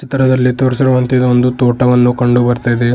ಚಿತ್ರದಲ್ಲಿ ತೋರಿಸಿರುವಂತೆ ಒಂದು ತೋಟವನ್ನು ಕಂಡು ಬರ್ತಾ ಇದೆ.